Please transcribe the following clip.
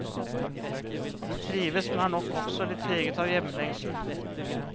De trives, men er nok også litt preget av hjemlengsel.